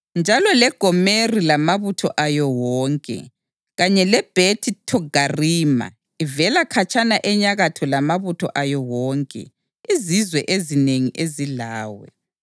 njalo leGomeri lamabutho ayo wonke, kanye leBhethi Thogarima ivela khatshana enyakatho lamabutho ayo wonke, izizwe ezinengi ezilawe.